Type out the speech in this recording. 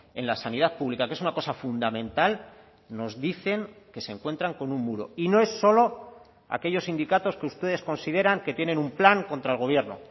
en la sanidad pública que es una cosa fundamental nos dicen que se encuentran con un muro y no es solo aquellos sindicatos que ustedes consideran que tienen un plan contra el gobierno